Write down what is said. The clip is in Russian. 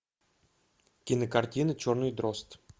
кинокартина черный дрозд